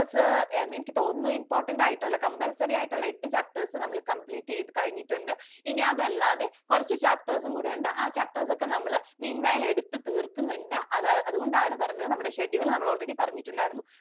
എനിക്ക് തോന്നുന്നു important ആയിട്ടുള്ള compulsory ആയിട്ടുള്ള എട്ട് chapters നമ്മൾ complete ചെയ്തു കഴിഞ്ഞിട്ടുണ്ട്. ഇനി അതല്ലാതെ കുറച്ചു chapters കൂടിയുണ്ട്. ആ chapters ഒക്കെ നമ്മൾ meanwhile എടുത്തു തീർക്കുന്നുണ്ട്. അതുകൊണ്ടാണ് പറഞ്ഞത് നമ്മുടെ schedule നമ്മൾ already പറഞ്ഞിട്ടുണ്ടായിരുന്നു.